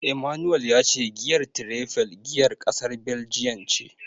Emmanuel ya ce giyar Tiraifel giyar kasar Baljiyan ce.